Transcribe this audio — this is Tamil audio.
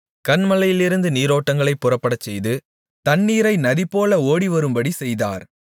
கன்மலையிலிருந்து நீரோட்டங்களைப் புறப்படச்செய்து தண்ணீரை நதிபோல ஓடிவரும்படி செய்தார்